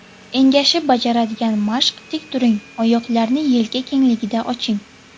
Engashib bajaradigan mashq Tik turing, oyoqlarni yelka kengligida oching.